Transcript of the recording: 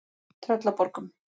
Tröllaborgum